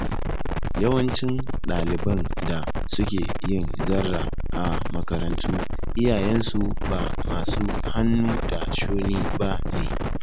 Yawancin ɗaliban da suke yin zarra a makarantu, iyayensu ba masu hannu da shuni ba ne.